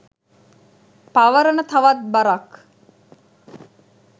පවරන තවත් බරක්.